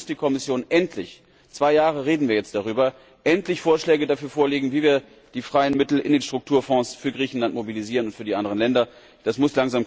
Und dann muss die Kommission endlich zwei Jahre reden wir jetzt darüber Vorschläge dafür vorlegen, wie wir die freien Mittel in den Strukturfonds für Griechenland und für die anderen Länder mobilisieren.